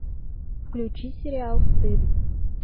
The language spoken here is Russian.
включи сериал стыд